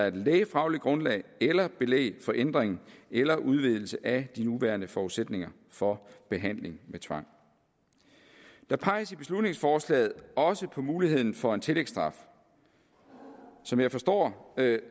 et lægefagligt grundlag eller et belæg for ændring eller udvidelse af de nuværende forudsætninger for behandling med tvang der peges i beslutningsforslaget også på muligheden for en tillægsstraf som jeg forstår